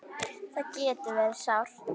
Það getur verið sárt.